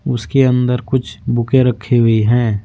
उसके अंदर कुछ बुके रखी हुई हैं।